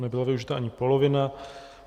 Nebyla využita ani polovina.